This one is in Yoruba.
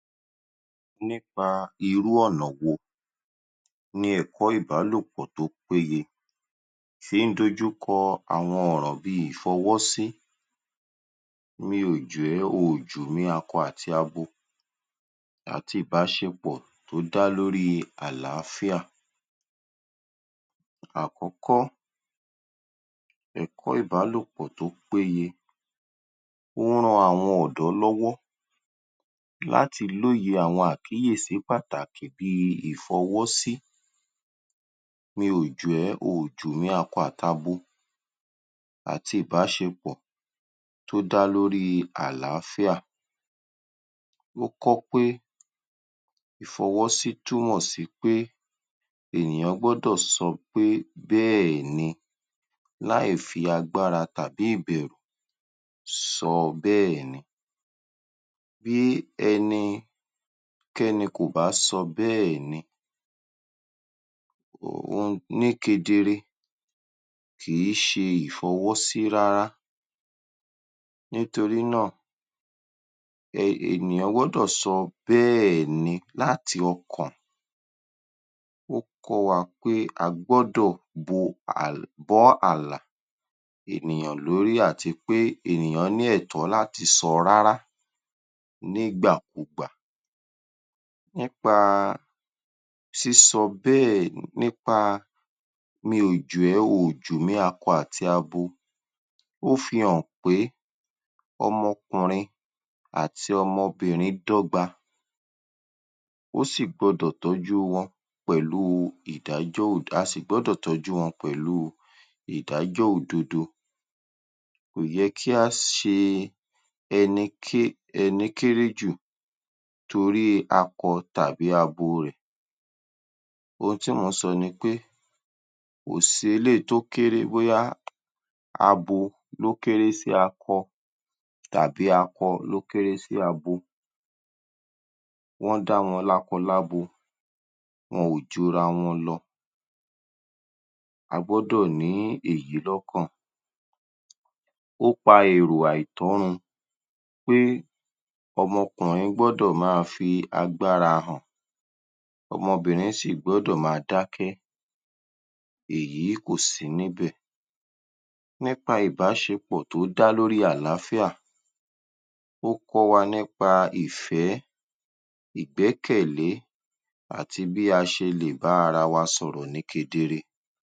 Nípa irú ọ̀nà wo ni ẹ̀kọ́ ìbálòpọ̀ tó péye fí ń dojúkọ àwọn ọ̀ràn bí i ìfọwọ́sí mi ò jù ẹ́ oò jù mí akọ àti abo àti ìbáṣepọ̀ tó dá lórí àláfíà. Àkọ́kọ́, ẹ̀kọ́ ìbálòpọ̀ tó péye ó ran àwọn ọ̀dọ́ lọ́wọ́ láti lóye àọn àkíyèsí pàtàkì bí i ìfọwọ́sí mi ò jù ẹ́ oò jù mí akọ àt’abo àti ìbáṣepọ̀ tó dá lórí àláfíà. Ó kọ́ pé ìfọwọ́sí túmọ̀ sí pé ènìyàn gbọ́dọ̀ sọ pé bẹ́ẹ̀ni láì fi agbára tàbí ìbẹ̀rù sọ bẹ́ẹ̀ni. Bí ẹnikẹ́ni kò bá sọ bẹ́ẹ̀ni um ní kedere kì í ṣe ìfọwọ́sí rárá nítorí náà, um ènìyàn gbọ́dọ̀ sọ bẹ́ẹ̀ni láti ọkàn. Ó kọ́ wa pé a gbọ́dọ̀ bo um bọ́ àlà ènìyàn lórí àti wí pé ènìyàn ní ẹ̀tọ́ láti sọ rárá nígbàkugbà nípa sísọ bẹ́ẹ̀ nípa mi ò jù ẹ, oò jù mí akọ àti abo, ó fi hàn pé ọmọkùnrin àti ọmọbìnrin dọ́gba ó sì gbọdọ̀ tọ́jú wọn pẹ̀lú ìdájọ a sì gbọ́dọ̀ tọ́jú wọn pẹ̀lụ́ ìdájọ́ òdodo. Kò yẹ kí á ṣe ẹní kéré jù torí akọ tàbí abo rẹ̀ oun tí mò ń sọ ni pé kò sí eléyìí tó kéré bóyá abo ló kéré sí akọ tàbí akọ ló kéré sí abo wọ́n dá wọn lákọ lábo wọn ò ju’ra wọn lọ. A gbọ́dọ̀ ní èyí lọ́kàn. Ó pa èrò àìtọ́ run pé ọmọkùnrin gbọ́dọ̀ máa fi agbára hàn, ọmọbìnrin sì gbọ́dọ̀ máa dákẹ́ èyí kò sí níbẹ̀. Nípa ìbáṣepọ̀ tó dá lórí àláfíà, ó kọ́ wa nípa ìfẹ́, ìgbẹ́kẹ̀lé àti bí a ṣe lè bá ara wa sọ̀rọ̀ ní kedere.